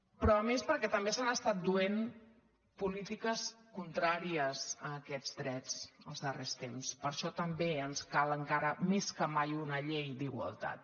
però a més perquè també s’han estat duent polítiques contràries a aquests drets els darrers temps per això també ens cal encara més que mai una llei d’igualtat